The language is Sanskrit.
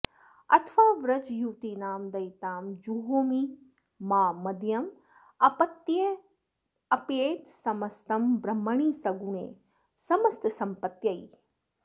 अथवा व्रजयुवतीनां दयिताय जुहोमि मां मदीयम् अपीत्यर्पयेत् समस्तं ब्रह्मणि सुगणे समस्तसम्पत्त्यै